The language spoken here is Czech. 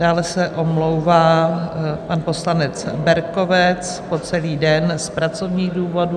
Dále se omlouvá pan poslanec Berkovec po celý den z pracovních důvodů.